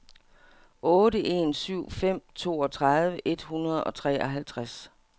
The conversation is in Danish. otte en syv fem toogtredive et hundrede og treoghalvtreds